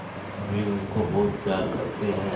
वे उनको बहुत प्यार करते हैं